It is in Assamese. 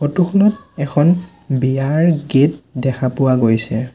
ফটো খনত এখন বিয়াৰ গেট দেখা পোৱা গৈছে।